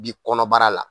Bi kɔnɔbara la